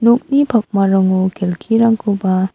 nokni pakmarango kelkirangkoba--